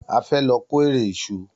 A fẹ́ lọ kórẹ̀ ìṣù.